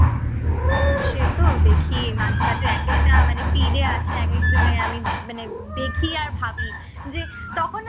সে তো দেখি মাঝে মাঝে একেকটা মানে কি যে আসে একেকজনের আমি মানে দেখি আর ভাবি যে তখন না